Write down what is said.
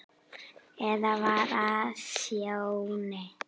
Eða var það Sjóni?